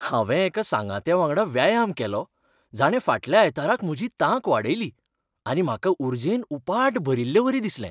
हांवें एका सांगात्यावांगडा व्यायाम केलो, जाणें फाटल्या आयताराक म्हजी तांक वाडयली आनी म्हाका उर्जेन उपाट भरिल्लेवरी दिसलें.